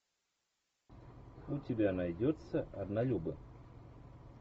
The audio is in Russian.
у тебя найдется однолюбы